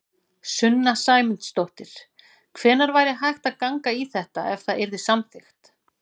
Sunna Sæmundsdóttir: Hvenær væri hægt að ganga í þetta, ef það yrði samþykkt?